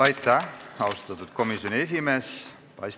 Aitäh, austatud komisjoni esimees!